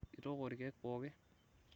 itooko irkeek pookin